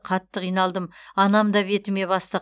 қатты қиналдым анам да бетіме басты